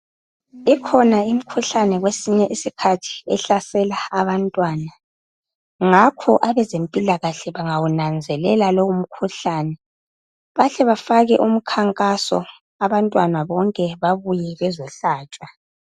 Ikhona imikhuhlane kwesinye isikhathi ehlasela abantwana, ngakho abezempilakahle bengawunanzelela lowo mkhuhlane bahle bafake umkhankaso abantwana bonke babuye bezohlatshwa.